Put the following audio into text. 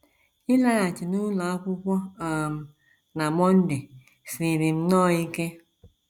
“ Ịlaghachi n’ụlọ akwụkwọ um na Monday siiri m nnọọ ike.